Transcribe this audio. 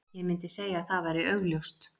Ég myndi segja að það væri augljóst.